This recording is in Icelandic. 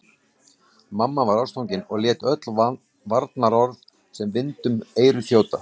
Mamma var ástfangin og lét öll varnaðarorð sem vind um eyru þjóta.